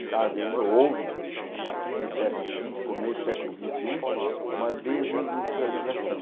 está havendo, houve, no fim do século vinte, começo do século vinte e um, uma desindustrialização.